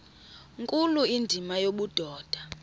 nkulu indima yobudoda